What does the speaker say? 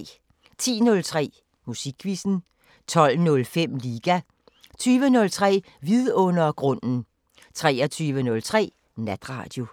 10:03: Musikquizzen 12:05: Liga 20:03: Vidundergrunden 23:03: Natradio